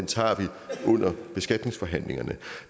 tager under beskatningsforhandlingerne